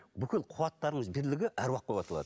бүкіл қуаттарымыз бірлігі аруақ болып аталады